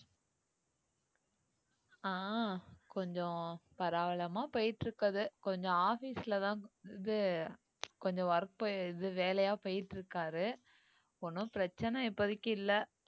அஹ் கொஞ்சம் பரவலமா போயிட்டுருக்கது கொஞ்சம் office லதான் இது கொஞ்சம் work போ~ இது வேலையா போயிட்டு இருக்காரு ஒண்ணும் பிரச்சனை இப்போதைக்கு இல்லை